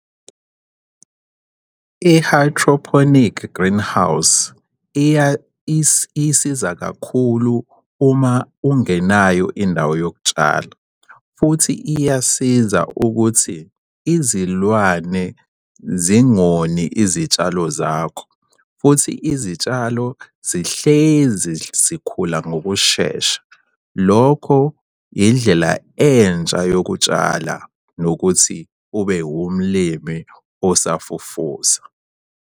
I-hydroponic greenhouse, isiza kakhulu uma ungenayo indawo yokutshala, futhi iyasiza ukuthi izilwane zingoni izitshalo zakho, futhi izitshalo zihlezi zikhula ngokushesha. Lokho indlela entsha yokutshala nokuthi ube umlimi osafufusa.